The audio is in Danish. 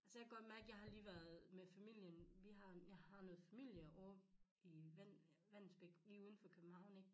Altså jeg har lige været med familien vi har jeg har noget familie over i Vallensbæk lige uden for København ik